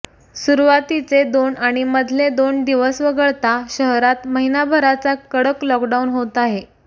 सुरवातीचे दोन आणि मधले दोन दिवस वगळता शहरात महिनाभराचा कडक लॉकडाऊन होत आहे